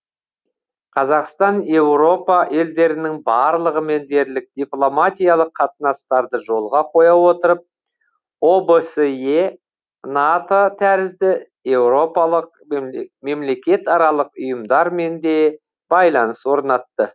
қазақстан еуропа елдерінің барлығымен дерлік дипломатиялық қатынастарды жолға қоя отырып обсе нато тәрізді еуропалық мемлекетаралық ұйымдармен де байланыс орнатты